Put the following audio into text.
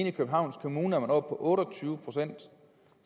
i københavns kommune oppe på otte og tyve procent